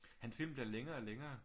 Hans film bliver længere og længere